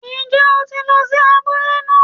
Ń jẹ́ o ti lo sí abúlé náà